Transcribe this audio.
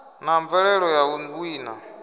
na mvelelo ya u wina